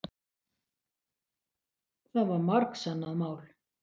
Það var margsannað mál.